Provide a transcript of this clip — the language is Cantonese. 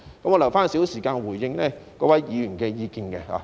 我會留少許時間回應各位議員的意見。